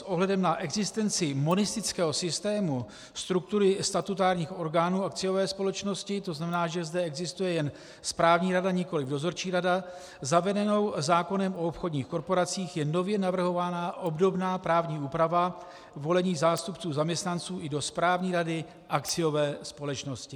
S ohledem na existenci monistického systému struktury statutárních orgánů akciové společnosti, to znamená, že zde existuje jen správní rada, nikoli dozorčí rada, zavedenou zákonem o obchodních korporacích je nově navrhována obdobná právní úprava volených zástupců zaměstnanců i do správní rady akciové společnosti.